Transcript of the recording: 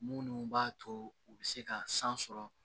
Munnu b'a to u be se ka san sɔrɔ